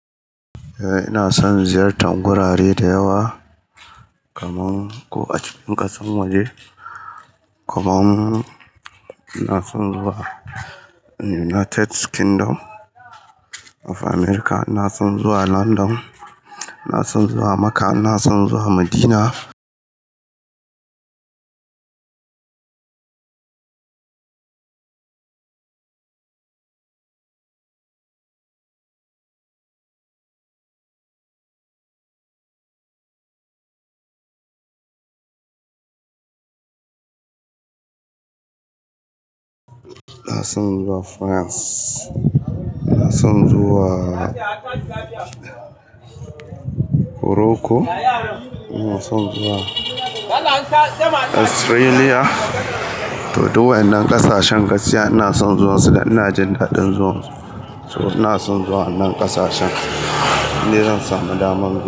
Eh ina son ziyartar gurare da yawa. Kaman ko a cikin ƙasan waje, kuma ina son zuwa United Kingdom of America. Ina son zuwa London, ina son zuwa Makka, ina son zuwa Madina, ina son zuwa France. Ina son zuwa Moroko. Ina son zuwa Australia to duk waƴannan ƙasashen gaskiya ina son zuwansu dan ina jin daɗin zuwansu. Ina son zuwa wannan ƙasashen, in dai zan samu daman zuwa.